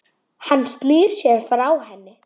Hann snýr sér frá henni.